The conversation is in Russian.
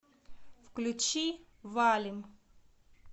включи валим